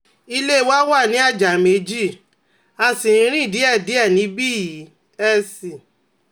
ilé wa wà ní àjà méjì, a sì ń rìn díẹ̀díẹ̀ níbí yìí ní SC